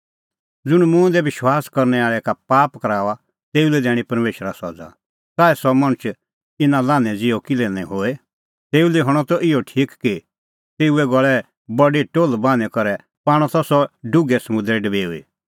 ज़ुंण मुंह दी विश्वास करनै आल़ै का पाप कराऊआ तेऊ लै दैणीं परमेशरा सज़ा च़ाऐ सह मणछ इना लान्हैं ज़िहअ किल्है निं होए तेऊ लै हणअ त इहअ ठीक कि तेऊए गल़ै बडी टोल्ह बान्हीं करै पाणअ त सह डुघै समुंदरै डबेऊई